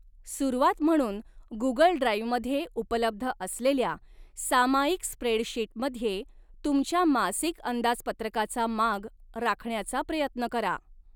सुरुवात म्हणून, गुगल ड्राइव्हमध्ये उपलब्ध असलेल्या सामायिक स्प्रेडशीटमध्ये तुमच्या मासिक अंदाजपत्रकाचा माग राखण्याचा प्रयत्न करा.